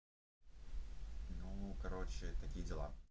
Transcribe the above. ну короче такие дела